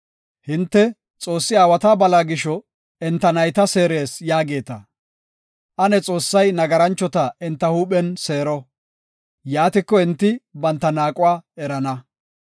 Hinte, ‘Xoossi aawata bala gisho enta nayta seerees’ yaageeta. Ane Xoossay nagaranchota enta huuphen seero; yaatiko enti banta naaquwa erana.